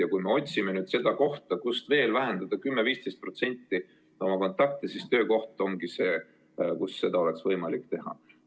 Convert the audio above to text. Ja kui me otsime, kus veel vähendada 10–15% oma kontakte, siis töökoht ongi see, mille arvel seda oleks võimalik teha.